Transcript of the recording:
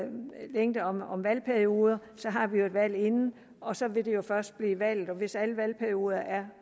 valgperioder og så vil de jo først blive valgt og hvis alle valgperioder er